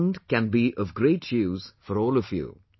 This fund can be of great use for all of you